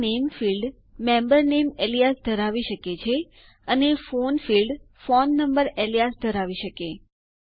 તેથી નામે ફિલ્ડ ક્ષેત્ર મેમ્બર નામે એલીયાઝ ધરાવી શકે અને ફોન ફિલ્ડ ક્ષેત્ર ફોન નંબર એલીયાઝ ધરાવી શકે